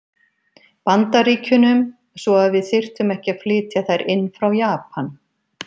Bandaríkjunum, svo að við þyrftum ekki að flytja þær inn frá Japan.